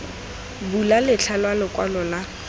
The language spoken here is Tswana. bula letlha la lokwalo lwa